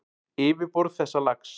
Yfirborð þessa lags